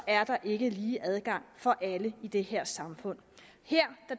er der ikke lige adgang for alle i det her samfund her